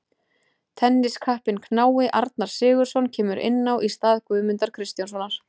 Tenniskappinn knái Arnar Sigurðsson kemur inn á í stað Guðmundar Kristjánssonar.